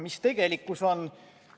Mis tegelikkus on?